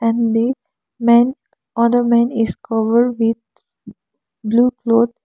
and the men other men is covered with blue cloth.